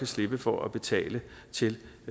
slippe for at betale til